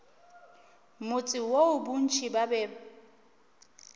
motse woo bontši ba be